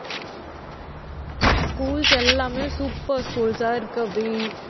schools எல்லாமே super schools ஆ இருக்கு அபி